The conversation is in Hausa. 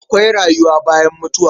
Akwai rayuwa bayan mutuwa.